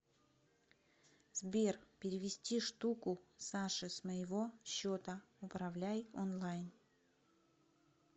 сбер перевести штуку саше с моего счета управляй онлайн